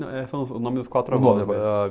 Não, é só o nome dos quatro avós.